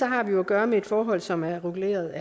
har vi jo at gøre med et forhold som er reguleret